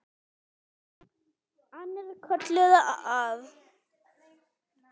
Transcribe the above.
Annir kölluðu að.